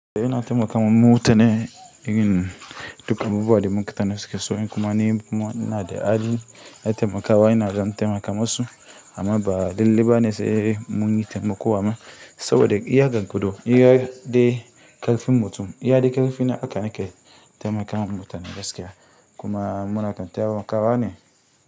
Ina taimakawa mutane irin duk abubuwan da mutane suke so ni kuma ni kuma ina da hali na taimakawa. Ina ɗan taimaka masu amma ba dalle ba ne sai mun yi taimako wa. Saboda iya haka kudun iya dai ƙarfin mutum, iya dai ƙarfi na aka nake taimakawa mutane gaskiya kuma muna ɗan taimakawa ne.